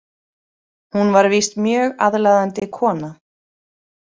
Hún var víst mjög aðlaðandi kona.